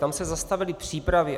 Tam se zastavily přípravy.